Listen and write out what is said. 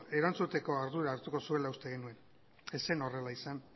erantzuteko ardura hartuko zuela uste genuen ez zen horrela izan